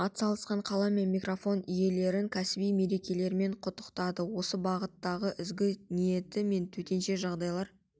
атсалысқан қалам мен микрофон иелерін кәсіби мерекелерімен құттықтады осы бағыттағы ізгі ниеті мен төтенше жағдайлар